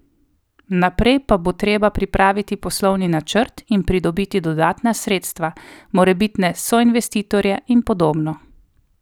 Naprej pa bo treba pripraviti poslovni načrt in pridobiti dodatna sredstva, morebitne soinvestitorje in podobno.